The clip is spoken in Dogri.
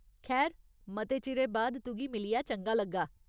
खैर, मते चिरे बाद तुगी मिलियै चंगा लग्गा।